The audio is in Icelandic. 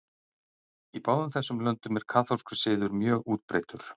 Í báðum þessum löndum er kaþólskur siður mjög útbreiddur.